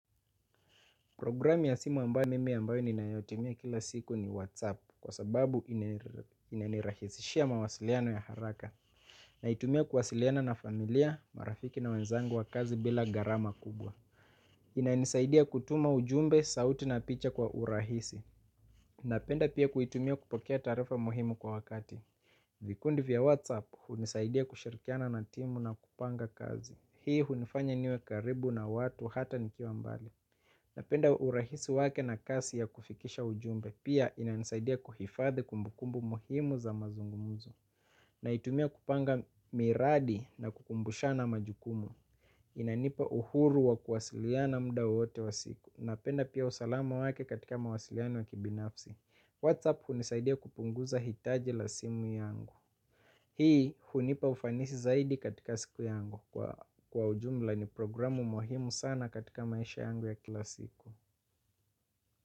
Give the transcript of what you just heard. Programi ya simu ambayo mimi ambayo ninayotimia kila siku ni WhatsApp kwa sababu inanirahisishia mawasiliano ya haraka. Naitumia kuwasiliana na familia, marafiki na wenzangu wa kazi bila gharama kubwa. Inainisaidia kutuma ujumbe, sauti na picha kwa urahisi. Napenda pia kuitumia kupokea taarifa muhimu kwa wakati. Vikundi vya WhatsApp hunisaidia kushirikiana na timu na kupanga kazi. Hii hunifanya niwe karibu na watu hata nikiwa mbali napenda urahisi wake na kasi ya kufikisha ujumbe. Pia inanisaidia kuhifadhi kumbukumbu muhimu za mazungumzo. Naitumia kupanga miradi na kukumbushana majukumu. Inanipa uhuru wa kuwasiliana mda wowote wa siku. Napenda pia usalama wake katika mawasiliano ya kibinafsi whatsapp hunisaidia kupunguza hitaji la simu yangu. Hii hunipa ufanisi zaidi katika siku yangu. Kwa ujumla ni programu muhimu sana katika maisha yangu ya kila siku.